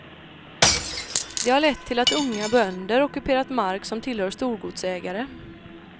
Det har lett till att unga bönder ockuperat mark som tillhör storgodsägare.